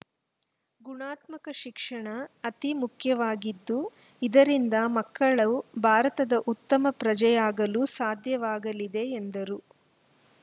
ಗುಣಾತ್ಮಕ ಶಿಕ್ಷಣ ಅತಿ ಮುಖ್ಯವಾಗಿದ್ದು ಇದರಿಂದ ಮಕ್ಕಳು ಭಾರತದ ಉತ್ತಮ ಪ್ರಜೆಯಾಗಲು ಸಾಧ್ಯವಾಗಲಿದೆ ಎಂದರು